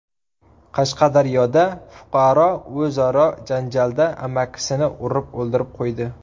Qashqadaryoda fuqaro o‘zaro janjalda amakisini urib o‘ldirib qo‘ydi.